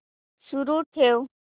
सुरू ठेव